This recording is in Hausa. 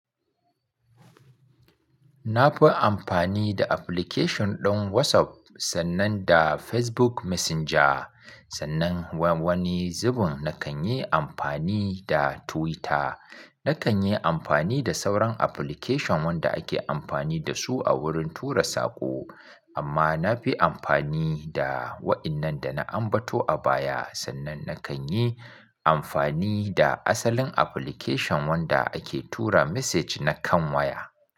Na fi amfani da application ɗin WhatsApp sannan da Facebook Messenger. Sannan wani zubin na kan yi amfani da Twitter. Na kan yi amfani da sauran application wanda ake amfani da su a wurin tura saƙo. Amma na fi amfani da waɗannan da na ambato a baya. Sannan na kan yi amfani da asalin application wanda ake tura message na kan waya.